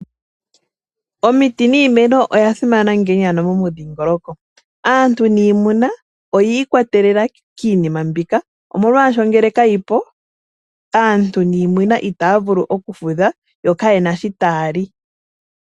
Omiti niimeno oya simana ngiini ano momidhingoloko. Aantu niimuna oyi ikwatelela kiinima mbika, omolwasho nge kayipo, aantu niimuna ita ya vulu oku fudha, yo kayena shi ta ya li.